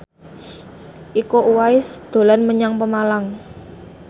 Iko Uwais dolan menyang Pemalang